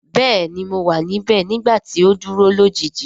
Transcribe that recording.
Bẹẹni mo wa nibẹ nigbati o duro lojiji.